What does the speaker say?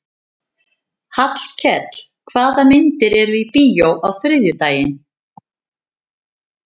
Hallkell, hvaða myndir eru í bíó á þriðjudaginn?